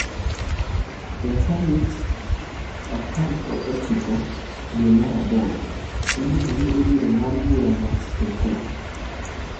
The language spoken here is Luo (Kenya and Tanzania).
E tarik 19 dwe mar aboro, igeno ni ibiro ng’ad burano kendo e kot.